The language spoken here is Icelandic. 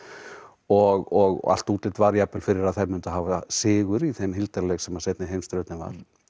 og og allt útlit var jafnvel fyrir að þær myndu hafa sigur í þeim hildarleik sem seinni heimsstyrjöldin var